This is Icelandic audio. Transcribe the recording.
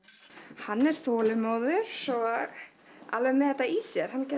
hann er þolinmóður og alveg með þetta í sér hann gæti